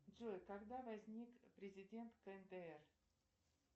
джой когда возник президент кндр